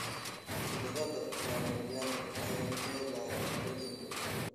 Khudradda ya majani waxay leedahay borotiin badan.